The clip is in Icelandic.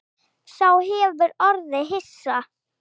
Sá hefur orðið hissa